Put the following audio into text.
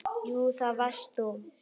Jú, það varst þú.